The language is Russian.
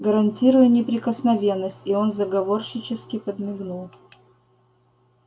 гарантирую неприкосновенность и он заговорщически подмигнул